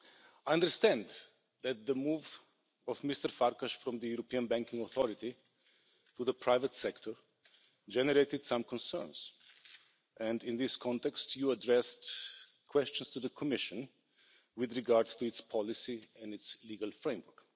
I understand that the move of Mr Farkas from the European Banking Authority to the private sector generated some concerns and in this context, you addressed questions to the Commission with regards to its policy and its legal framework.